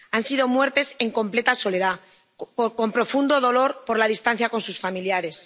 Han sido muertes en completa soledad, con profundo dolor por la distancia con sus familiares.